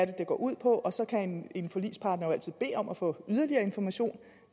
det går ud på og så kan en forligspartner jo altid bede om at få yderligere information